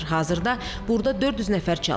Hazırda burda 400 nəfər çalışır.